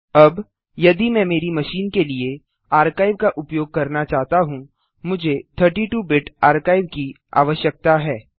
अबयदि मैं मेरी मशीन के लिए आर्काइव का उपयोग करना चाहता हूँ मुझे 32 बिट आर्काइव की आवश्यकता है